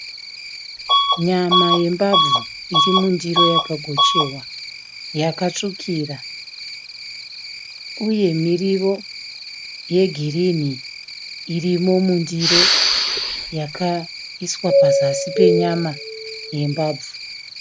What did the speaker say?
Nyama yembabvu iri mundiro yakagochewa yakatsvukira, uye miriwo yegreen irimo mundiro yakaiswa pazasi penyama yembabvu.